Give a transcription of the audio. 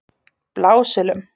Blásölum